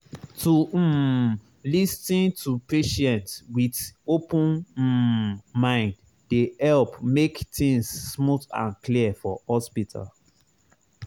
to um lis ten to patient with open um mind dey help make things smooth and clear for hospital.